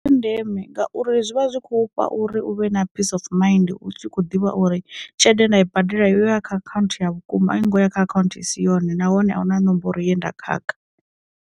Ndeme ngauri zwi vha zwi khou pfha uri u vhe na peace of mind u tshi khou ḓivha uri tshelede nda i badela yo ya kha akhaunthu ya vhukuma a ingoya kha akhaunthu i si yone nahone a hu na nomboro ye nda khakha.